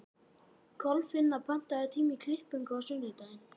Kolfinna, pantaðu tíma í klippingu á sunnudaginn.